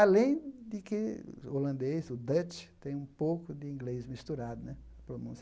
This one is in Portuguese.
Além de que o holandês, o Dutch, tem um pouco de inglês misturado, né? Pronúncia